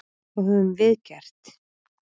Hvað höfum við gert?